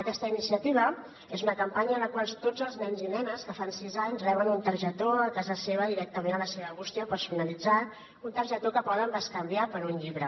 aquesta iniciativa és una campanya en la qual tots els nens i nenes que fan sis anys reben una targeta a casa seva directament a la seva bústia personalitzada una targeta que poden bescanviar per un llibre